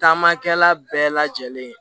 Taamakɛla bɛɛ lajɛlen